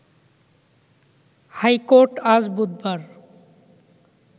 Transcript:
high court আজ বুধবার